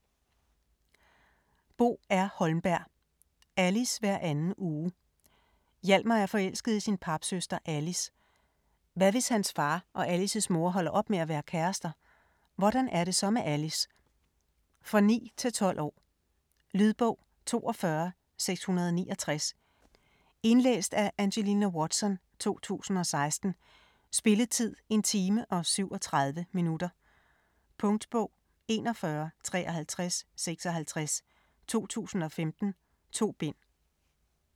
Holmberg, Bo R.: Alice hver anden uge Hjalmar er forelsket i sin papsøster, Alice. Hvad hvis hans far og Alices mor holder op med at være kærester? Hvordan er det så med Alice? For 9-12 år. Lydbog 42669 Indlæst af Angelina Watson, 2016. Spilletid: 1 time, 37 minutter. Punktbog 415356 2015. 2 bind.